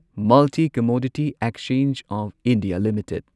multi commodity exchange of India limited